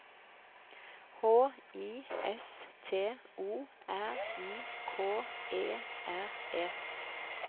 H I S T O R I K E R E